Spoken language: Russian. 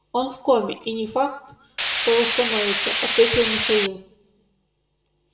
он в коме и не факт что восстановится ответил михаил